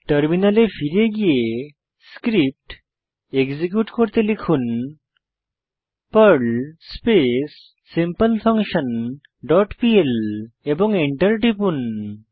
টার্মিনালে ফিরে গিয়ে স্ক্রিপ্ট এক্সিকিউট করতে লিখুন Perl space simple function dot PL এবং এন্টার টিপুন